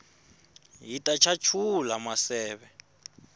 hit chachula maseve